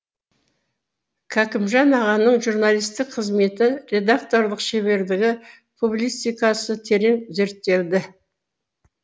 кәкімжан ағаның журналистік қызметі редакторлық шеберлігі публицистикасы терең зерттелді